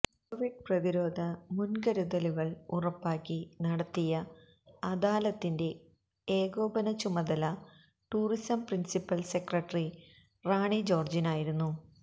Covid പ്രതിരോധ മുന്കരുതലുകള് ഉറപ്പാക്കി നടത്തിയ അദാലത്തിന്റെ ഏകോപനച്ചുമതല ടൂറിസം പ്രിന്സിപ്പല് സെക്രട്ടറി റാണി ജോര്ജിനായിരുന്നു